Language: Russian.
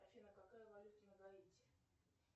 афина какая валюта на гаити